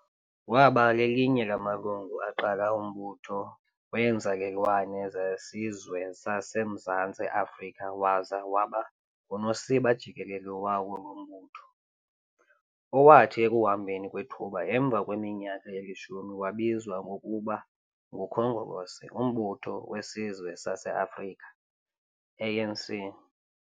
Waba lelinye lamalungu elaqala umButho weeNzalelwane zeSizwe sasemZantsi Afrika waza waba ngusosiba jikelele wawo lo mbutho, owathi ekuhambeni kwethuba emva kweminyaka elishumi wabizwa ngokuba nguKhongolose UMbutho wesizwe saseAfrika ANC.